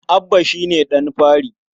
Abba shi ne ɗan fari.